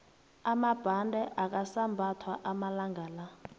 amabhande akasambathwa amalangala